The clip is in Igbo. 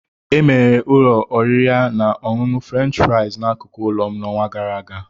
Emeghere ụlọ oriri na ọṅụṅụ French fries n'akụkụ ụlọ m n'ọnwa gara aga